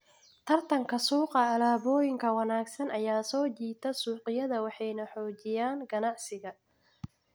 Tartanka Suuqa Alaabooyinka wanaagsan ayaa soo jiita suuqyada waxayna xoojiyaan ganacsiga.